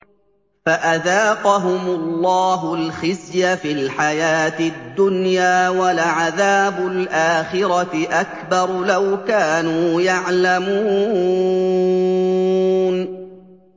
فَأَذَاقَهُمُ اللَّهُ الْخِزْيَ فِي الْحَيَاةِ الدُّنْيَا ۖ وَلَعَذَابُ الْآخِرَةِ أَكْبَرُ ۚ لَوْ كَانُوا يَعْلَمُونَ